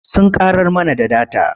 Sun ƙarar mana da data.